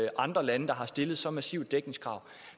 andre lande der har stillet så massive dækningskrav